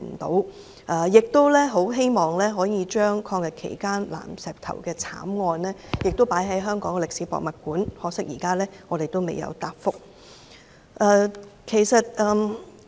他們亦希望抗日期間南石頭慘案的事跡能夠在香港歷史博物館保存，可惜，當局仍未答覆。